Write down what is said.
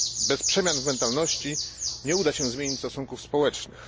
Bez przemian w mentalności nie uda się zmienić stosunków społecznych.